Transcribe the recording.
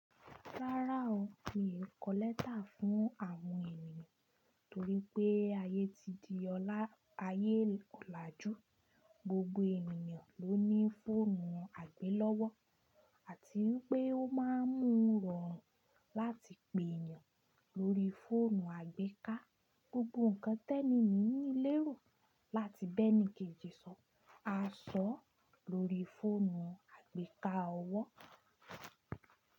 Rárá o, mi ò kọ lẹ́tà fún àwọn ènìyàn torípé ayé ti di ọlá, ayé ọ̀làjú, gbogbo ènìyàn ló ní fóònù àgbélọ́wọ́ àti wipé ó má ń mú rọ̀rùn láti pè ènìyàn lórí fóònù àgbéká. Gbogbo ǹkan tẹ́ni yí nílérò láti bẹ́ni kejì sọ, a sọ̀ ọ́ lórí fóònù àgbéká ọwọ́.